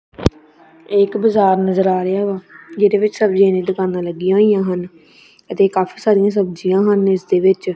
ਏਕ ਬਜਾਰ ਨਜਰ ਆ ਰਿਹਾ ਵਾ ਜਿਹਦੇ ਵਿੱਚ ਸਬਜੀ ਦੀ ਦੁਕਾਨਾਂ ਲੱਗੀਆਂ ਹੋਈਆਂ ਹਨ ਅਤੇ ਕਾਫੀ ਸਾਰਿਆਂ ਸਬਜੀਆਂ ਹਨ ਇਸਦੇ ਵਿੱਚ।